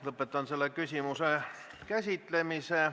Lõpetan selle küsimuse käsitlemise.